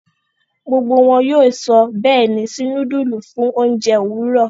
Gbógbó wón yóò sọ béèni sí nudulu fún oúnjẹ Òwúrọ.